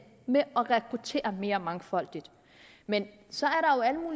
med at rekruttere mere mangfoldigt man så